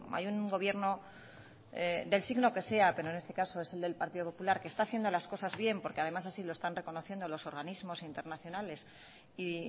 hay un gobierno del signo que sea pero en este caso es el del partido popular que está haciendo las cosas bien porque además así lo están reconociendo los organismos internacionales y